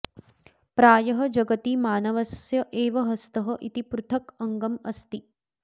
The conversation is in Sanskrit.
प्रायः जगति मानवस्य एव हस्तः इति पृथक् अङ्गम् अस्ति